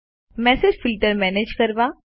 message filter manage કરો